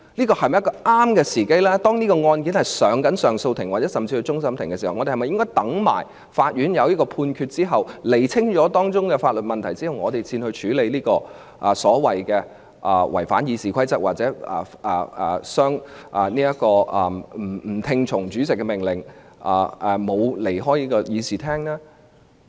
鑒於相關案件已提交上訴庭，甚至可能提交至終審法院，我們是否應待法院作出判決，釐清當中的法律問題後，才處理議員所謂違反《議事規則》或不聽從主席的命令，又沒有離開議事廳的控罪呢？